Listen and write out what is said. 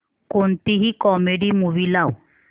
कोणतीही comedy movie लाव